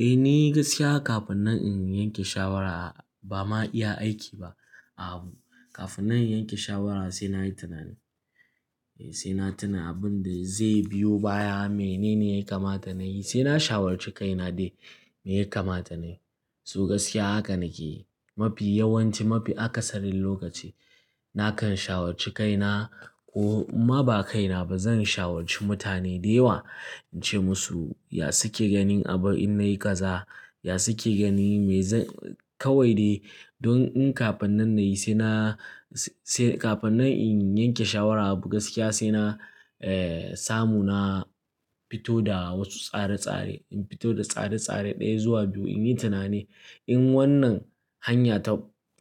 Eh, ni gaskiya kafin nan in yanke shawara bama iya aiki ba. A abu, kafin nan in yanke shawara sai na yi tunani. Sai na tuna abin da zai biyo baya, menene ya kamata na yi, sai na shawarci kaina dai me ya kamata nayi. So gaskiya haka nake. Mafi yawanci, mafi akasarin lokaci nakan shawarci kaina ko ma ba kaina ba zan shawarci mutane da yawa, in ce musu ya suke ganin abin in nayi kaza, ya suke ganin me zan-- kawai dai don in kafin nan nayi sai na-- sai kafin na yanke shawara abu gaskiya sai na, eh, samu na fito da wasu tsare-tsare. In fito da tsare-tsare ɗaya zuwa biyu in yi tunani in wannan hanya ta